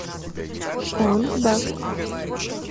онг бак